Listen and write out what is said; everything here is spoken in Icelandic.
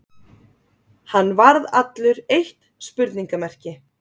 Hann varð allur eitt spurningarmerki.